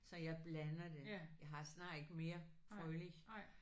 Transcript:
Så jeg blander det. Jeg har snart ikke mere Froelich